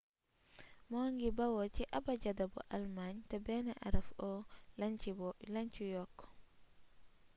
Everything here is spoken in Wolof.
mu ngi bawoo ci abajada bu almaañ te benn araf õ/õ lañ ci yokk